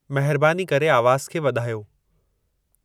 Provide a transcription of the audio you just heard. महिरबानी करे आवाज़ खे वधायो